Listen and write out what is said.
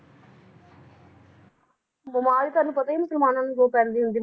ਬਿਮਾਰੀ ਤੁਹਾਨੂੰ ਪਤਾ ਈ ਆ ਮੁਸਲਮਾਨਾਂ ਨੂੰ ਜੋ ਪੈਂਦੀ ਹੁੰਦੀ